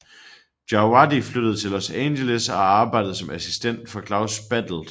Djawadi flyttede til Los Angeles og arbejdede som assistent for Klaus Badelt